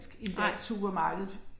Nej